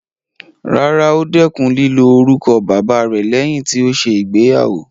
Rárá, ó dẹkùn lílo orúkọ bàbáa rẹ̀ lẹ́yìn tí ó ṣe ìgbéyàwó.